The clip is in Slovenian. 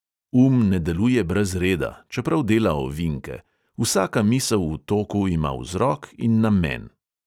Um ne deluje brez reda, čeprav dela ovinke; vsaka misel v toku ima vzrok in namen.